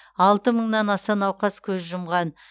алты мыңнан аса науқас көз жұмған